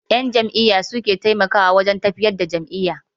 Ƴan jam'iyya su suke taimakawa wajen tafiyar da jam'iyya.